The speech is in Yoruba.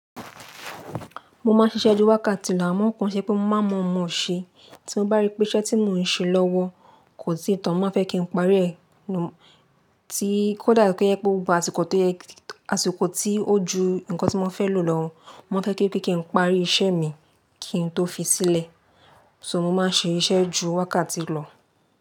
Mo máa ń ṣiṣẹ́ ju wákàtí lọ, àmọ́ nǹkan ṣe pé mo má mọ ọmọ sẹ, tí mo bá rí pé iṣẹ́ tí mò ń ṣe lọ́wọ́ kò tíì tàn, mo má fẹ́ kí n parí rẹ̀, tí kò dà pé ẹ gba àsìkò tí ó ju nǹkan tí mo fẹ́ lò lọ́wọ́, mo fẹ́ kí kí n parí iṣẹ́ mi kí n tó fi sílẹ̀. So mo máa ń ṣe iṣẹ́ ju wákàtí lọ.